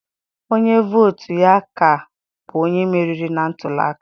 Onye vootu ya ka, bụ onye meriri na ntuliaka.